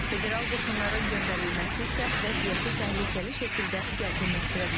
Federal qoşunların göndərilməsi isə vəziyyəti təhlükəli şəkildə gərginləşdirə bilər.